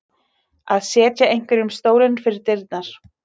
Að setja einhverjum stólinn fyrir dyrnar